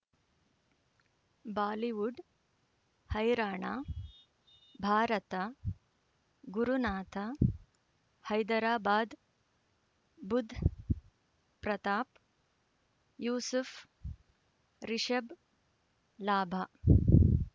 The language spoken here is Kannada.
ಬಾಲಿವುಡ್ ಹೈರಾಣ ಭಾರತ ಗುರುನಾಥ ಹೈದರಾಬಾದ್ ಬುಧ್ ಪ್ರತಾಪ್ ಯೂಸುಫ್ ರಿಷಬ್ ಲಾಭ